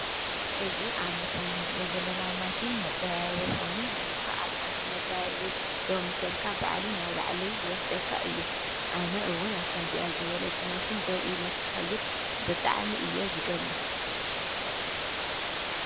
እዝ ኣብ ምስል ንርእዮ ዘለና ማሽን መዳያየቦኾይኑ ንስኻ ኣብ ሓንቲ መዳይይበት ደው ምስ በልካ ባዕሉ ናብ ላዕለይ ዝወስደካ እዩ ኣነ እውን ኣከምዚኣ ዝበለት ማሽን ደው ኢላ ክኸይድ ብጥዕሚ እየ ዝደሊ